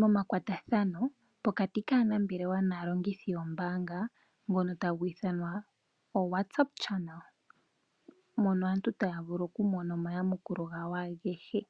momakwatathano pokati kaanambelewa naalongithi yombanga ngono tagu ithanwa oWhatsApp chanel mono aantu taya vulu okumona omayamukulo gawo agehe.